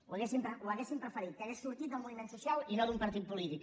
ho hauríem preferit que hagués sortit del moviment social i no d’un partit polític